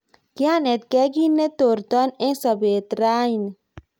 kianetgei kit netorton eng sobet rauni